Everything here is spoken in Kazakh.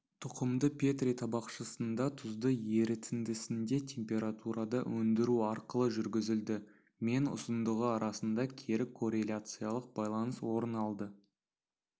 тұқымды петри табақшасында тұзды ерітіндісінде температурада өндіру арқылы жүргізілді мен ұзындығы арасында кері корреляциялық байланыс орын алды